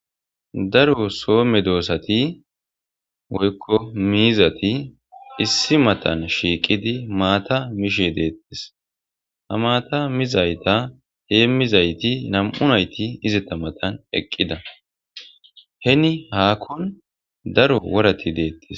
daro soome doosati woykko miizati issi matan shiiqidi maata mishe deettis ha maata mizayta hee mizayti nam7u nayti izeta matan eqqida heni haakkon daro worati deettis